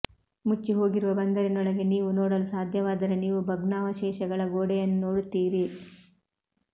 ಮುಚ್ಚಿಹೋಗಿರುವ ಬಂದರಿನೊಳಗೆ ನೀವು ನೋಡಲು ಸಾಧ್ಯವಾದರೆ ನೀವು ಭಗ್ನಾವಶೇಷಗಳ ಗೋಡೆಯನ್ನು ನೋಡುತ್ತೀರಿ